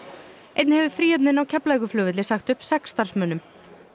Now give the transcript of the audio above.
einnig hefur Fríhöfnin á Keflavíkurflugvelli sagt upp sex starfsmönnum